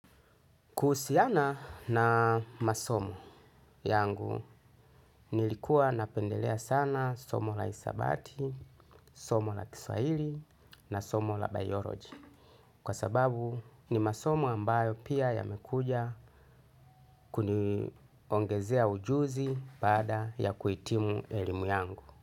Kuhusiana na masomo yangu nilikuwa napendelea sana somo la hisabati, somo la kiswahili na somo la biolojia. Kwa sababu ni masomo ambayo pia yamekuja kuniongezea ujuzi baada ya kuhitimu elimu yangu.